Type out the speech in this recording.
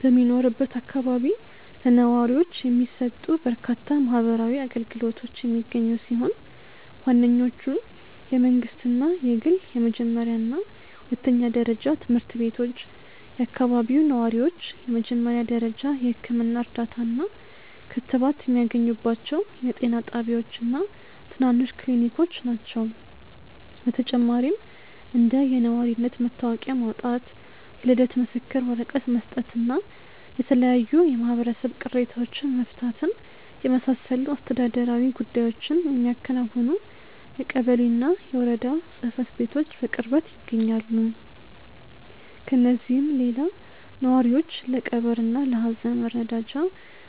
በሚኖርበት አካባቢ ለነዋሪዎች የሚሰጡ በርካታ ማህበራዊ አገልግሎቶች የሚገኙ ሲሆን፣ ዋነኞቹ የመንግሥትና የግል የመጀመሪያና ሁለተኛ ደረጃ ትምህርት ቤቶች፣ የአካባቢው ነዋሪዎች የመጀመሪያ ደረጃ የሕክምና እርዳታና ክትባት የሚያገኙባቸው የጤና ጣቢያዎችና ትናንሽ ክሊኒኮች ናቸው። በተጨማሪም እንደ የነዋሪነት መታወቂያ ማውጣት፣ የልደት ምስክር ወረቀት መስጠትና የተለያዩ የማህበረሰብ ቅሬታዎችን መፍታትን የመሳሰሉ አስተዳደራዊ ጉዳዮችን የሚያከናውኑ የቀበሌና የወረዳ ጽሕፈት ቤቶች በቅርበት ይገኛሉ። ከእነዚህም ሌላ ነዋሪዎች ለቀብርና ለሐዘን መረዳጃ